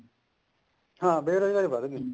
ਹਾਂ ਬੇਰੋਜ਼ਗਾਰੀ ਵਧਗੀ